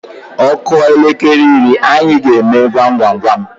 Ọ kụọ elekere iri, anyị emee gwam gwam gwam.